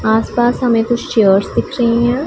आसपास हमें कुछ चेयर्स दिख रहीं हैं।